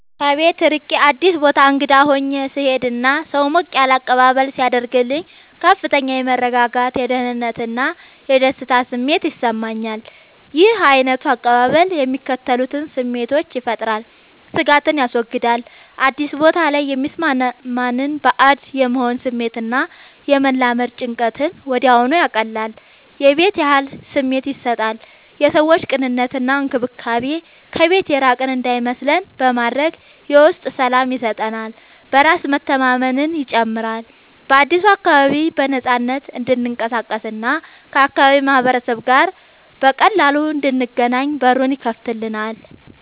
ከቤት ርቄ አዲስ ቦታ እንግዳ ሆኜ ስሄድ እና ሰው ሞቅ ያለ አቀባበል ሲያደርግልኝ ከፍተኛ የመረጋጋት፣ የደህንነት እና የደስታ ስሜት ይሰማኛል። ይህ ዓይነቱ አቀባበል የሚከተሉትን ስሜቶች ይፈጥራል፦ ስጋትን ያስወግዳል፦ አዲስ ቦታ ላይ የሚሰማንን ባዕድ የመሆን ስሜት እና የመላመድ ጭንቀትን ወዲያውኑ ያቀልላል። የቤት ያህል ስሜት ይሰጣል፦ የሰዎቹ ቅንነት እና እንክብካቤ ከቤት የራቅን እንዳይመስለን በማድረግ የውስጥ ሰላም ይሰጠናል። በራስ መተማመንን ይጨምራል፦ በአዲሱ አካባቢ በነፃነት እንድንቀሳቀስ እና ከአካባቢው ማህበረሰብ ጋር በቀላሉ እንድንገናኝ በሩን ይከፍትልናል።